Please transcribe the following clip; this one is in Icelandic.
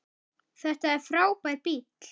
Þetta er frábær bíll.